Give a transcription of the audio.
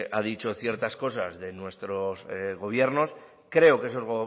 ha dicho ciertas cosas de nuestros gobiernos creo que esos